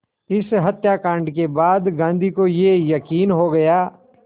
इस हत्याकांड के बाद गांधी को ये यक़ीन हो गया